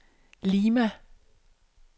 Lima